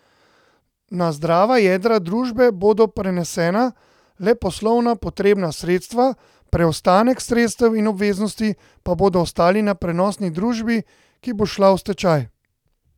Na zdrava jedra družbe bodo prenesena le poslovno potrebna sredstva, preostanek sredstev in obveznosti pa bodo ostali na prenosni družbi, ki bo šla v stečaj.